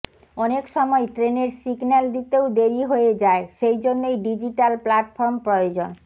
অনেক সময় ট্রেনের সিগন্যাল দিতেও দেরি হয়ে যায় সেই জন্যই ডিজিটাল প্ল্যাটফর্ম প্রয়োজন